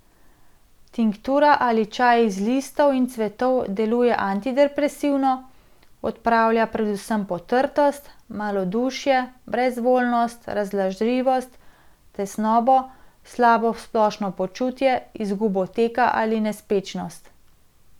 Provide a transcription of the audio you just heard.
Tinktura ali čaj iz listov in cvetov deluje antidepresivno, odpravlja predvsem potrtost, malodušje, brezvoljnost, razdražljivost, tesnobo, slabo splošno počutje, izgubo teka in nespečnost.